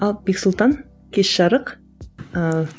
ал бексұлтан кеш жарық ыыы